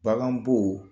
Baganbo